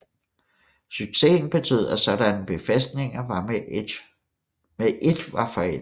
Successen betød at sådanne befæstninger med et var forældede